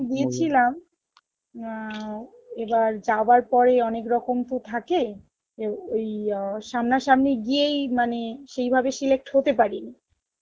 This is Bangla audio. গিয়েছিলাম, এবার যাবার পরে অনেক রকম তো থাকে যে ওই আ সামনা সামনি গিয়েই মানে সেই ভাবে select হতে পারেনি